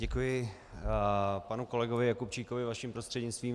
Děkuji panu kolegovi Jakubčíkovi vaším prostřednictvím.